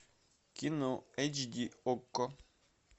кино эйч ди окко